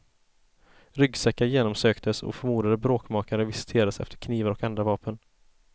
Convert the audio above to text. Ryggsäckar genomsöktes och förmodade bråkmakare visiterades efter knivar och andra vapen.